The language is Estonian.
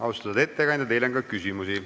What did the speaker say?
Austatud ettekandja, teile on ka küsimusi.